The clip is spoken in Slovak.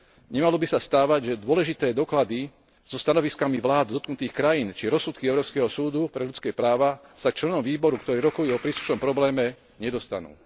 Nemalo by sa stávať, že dôležité doklady so stanoviskami vlád dotknutých krajín či rozsudky Európskeho súdu pre ľudské práva sa členom výboru, ktorí rokujú o príslušnom probléme, nedostanú.